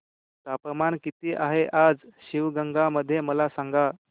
तापमान किती आहे आज शिवगंगा मध्ये मला सांगा